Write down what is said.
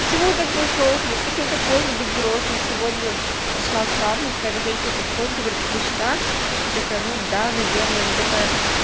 почему так всё сложно почему так сложно быть взрослым сегодня пришла в травму какая-то женщина подходит говорит вы сюда я такая ну да наверное она такая